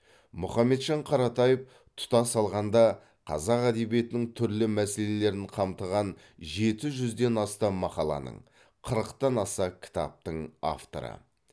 мұхамеджан қаратаев тұтас алғанда қазақ әдебиетінің түрлі мәселелерін қамтыған жеті жүзден астам мақаланың қырықтан аса кітаптың авторы